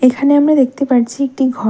এখানে আমরা দেখতে পারছি একটি ঘর।